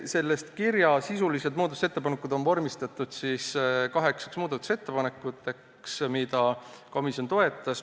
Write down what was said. Selle kirja sisulised muudatusettepanekud on vormistatud kaheksaks muudatusettepanekuks, mida komisjon toetas.